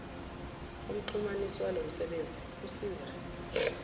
umxhumanisi walomsebenzi usiza